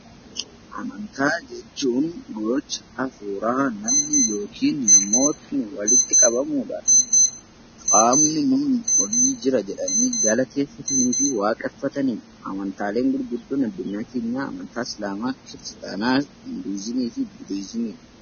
Amantaa jechuun gocha hafuuraa namni tokko yookiin namoonni walitti qabaman qaamni nuyii olii jira jedhanii galateeffatanii fi waaqeffatanidha. Amantaaleen gurguddoo addunyaa keenyaa amantaa islaamaa, kiristaanaa, budizimii fi hinduuzimiidha.